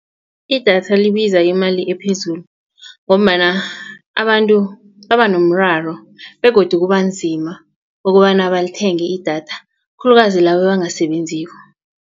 Idatha libiza imali ephezulu ngombana abantu baba nomraro begodu kubanzima ukobana balithenge idatha khulukazi laba abangasebenziko.